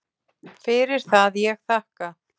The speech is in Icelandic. Fyrir það ég þakka.